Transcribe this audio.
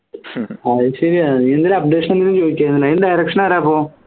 അത് ശരിയാ നീ എന്തേലും updation ചോദിച്ചോ അതിൻറെ direction ആരാ